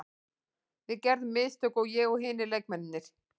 Við gerðum mistök, ég og hinir leikmennirnir.